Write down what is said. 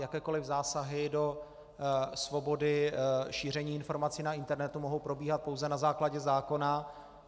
Jakékoliv zásahy do svobody šíření informací na internetu mohou probíhat pouze na základě zákona.